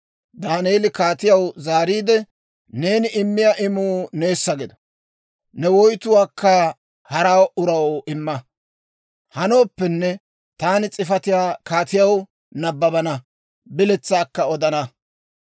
Daaneeli kaatiyaw zaariide, «Neeni immiyaa imuu neessa gido; ne woytuwaakka hara uraw imma. Hanooppenne taani s'ifatiyaa kaatiyaw nabbabana; biletsaakka odana.